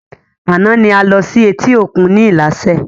Àná ni a lọ sí etí òkun ni ilaṣẹ